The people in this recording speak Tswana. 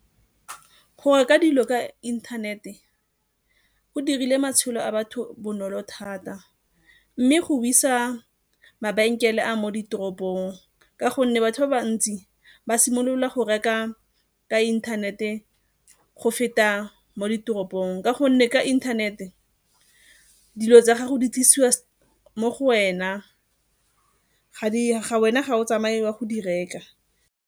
Go reka dilo ka inthanete go dirile matshelo a batho bonolo thata mme go wisa mabenkele a mo ditoropong ka gonne batho ba bantsi ba simolola go reka ka inthanete go feta mo ditoropong, ka gonne ka inthanete dilo tsa gago di tlisiwa mo go wena, wena ga o tsamaye o a go di reka.